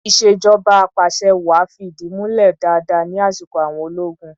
Ìṣèjọba apàṣẹwàá fi ìdí múlẹ̀ dáadáa ní asiko àwọn ológun.